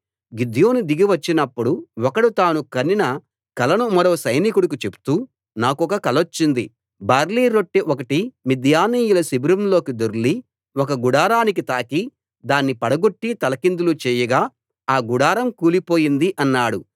గిద్యోను దిగి వచ్చినప్పుడు ఒకడు తాను కనిన కలను మరో సైనికుడికి చెప్తూ నాకొక కలొచ్చింది బార్లీ రొట్టె ఒకటి మిద్యానీయుల శిబిరంలోకి దొర్లి ఒక గుడారానికి తాకి దాన్ని పడగొట్టి తలకిందులు చేయగా ఆ గుడారం కూలిపోయింది అన్నాడు